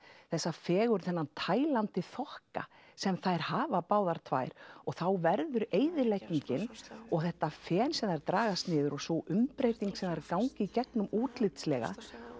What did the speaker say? þessa fegurð þessa Tælandi þokka sem þær hafa báðar tvær þá verður eyðileggingin og þetta fen sem þær dragast niður og sú umbreyting sem þær ganga í gegnum útlitslega